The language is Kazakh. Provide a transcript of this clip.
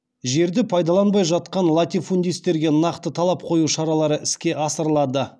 жерді пайдаланбай жатқан латифудистерге нақты талап қою шаралары іске асырылады